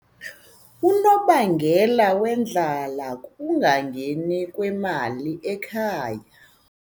Unobangela wendlala kukungangeni kwemali ekhaya.